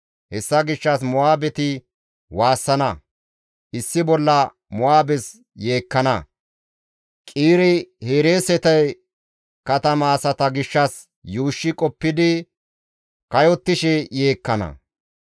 Hessa gishshas Mo7aabeti waassana; issi bolla Mo7aabes yeekkana; Qiire-Hereesete katama asaa gishshas yuushshi qoppidi kayottishe yeekkana.